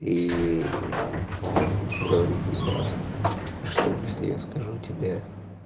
и он говорит типа что если я скажу тебе